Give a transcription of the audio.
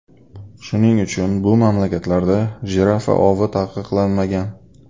Shuning uchun, bu mamlakatlarda jirafa ovi taqiqlanmagan.